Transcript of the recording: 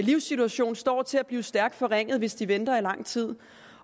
livssituation står til at blive stærkt forringet hvis de venter i lang tid